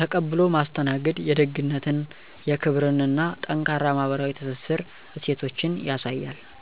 ተቀብሎ ማስተናገድ የደግነትን፣ የክብርን እና ጠንካራ ማህበራዊ ትስስር እሴቶችን ያሳያል።